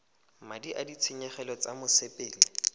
madi a ditshenyegelo tsa mosepele